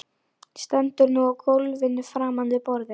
Stendur nú á gólfinu framan við borðið.